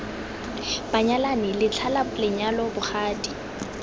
banyalani letlha la lenyalo bogadi